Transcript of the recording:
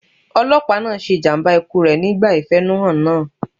Ọlọ́pàá náà ṣe ìjàmbá ikú rẹ̀ nígbà ìfẹ̀húnú hàn náà.